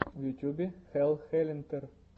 в ютюбе хелл хэллнитер